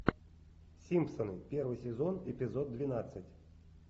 симпсоны первый сезон эпизод двенадцать